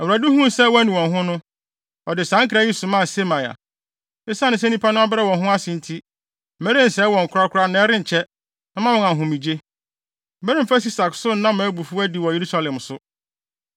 Awurade huu sɛ wɔanu wɔn ho no, ɔde saa nkra yi somaa Semaia: “Esiane sɛ nnipa no abrɛ wɔn ho ase nti, merensɛe wɔn korakora na ɛrenkyɛ, mɛma wɔn ahomegye. Meremfa Sisak so nna mʼabufuw adi wɔ Yerusalem so.